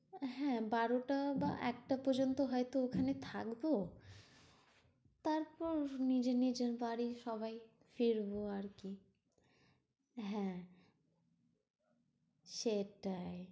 হ্যাঁ বারোটা বা একটা পর্যন্ত হয়তো ওখানে থাকবো। তারপর নিজের নিজের বাড়ি সবাই ফিরবো আরকি। হ্যাঁ সেটাই।